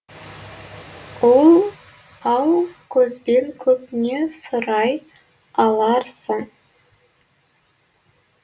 ал көзбен көп не сұрай аларсың